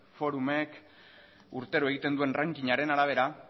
forum ek urtero egiten duen rankingaren arabera